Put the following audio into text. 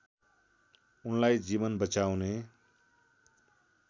उनलाई जीवन बचाउने